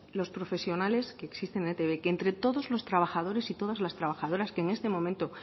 los profesionales que existen en etb que entre todos los trabajadores y todas las trabajadoras que en este momento